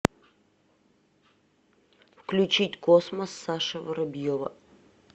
включить космос саша воробьева